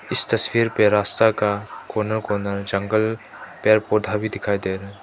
इस तस्वीर पर रास्ता का कोना कोना जंगल पेड़ पौधा भी दिखाई दे रहा है।